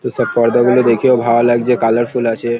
তো সব পর্দা গুলো দেখেও ভালো লাগছে কালারফুল আছে-এ ।